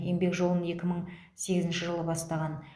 еңбек жолын екі мың сегізінші жылы бастаған